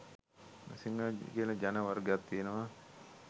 සිංහල කියල ජන වර්ගයක් තියෙනවා.